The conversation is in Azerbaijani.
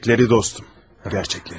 Gerçekleri dostum, gerçekleri.